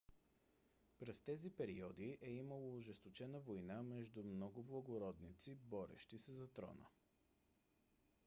през тези периоди е имало ожесточена война между много благородници борещи се за трона